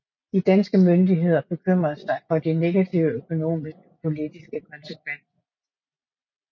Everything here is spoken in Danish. De danske myndigheder bekymrede sig for de negative økonomiske og politiske konsekvenser